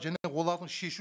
және олардың шешу